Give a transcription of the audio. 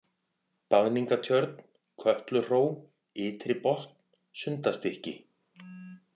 Baðningatjörn, Kötluhró, Ytribotn, Sundastykki